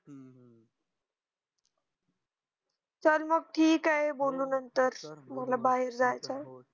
चल मग ठीक आहे बोलू नंतर मला बाहेर जायचंय